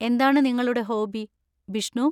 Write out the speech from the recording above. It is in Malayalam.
എന്താണ് നിങ്ങളുടെ ഹോബി, ബിഷ്ണു?